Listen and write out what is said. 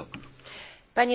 Single